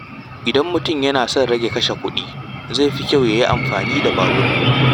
Idan mutum yana son rage kashe kuɗi, zai fi kyau ya yi amfani da babur.